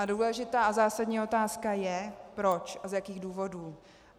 A důležitá a zásadní otázka je, proč a z jakých důvodů.